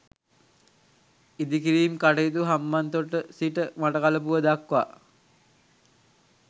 ඉදිකිරීම් කටයුතු හම්බන්තොට සිට මඩකලපුව දක්වා